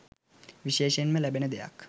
විශේෂයෙන්ම ලැබෙන දෙයක්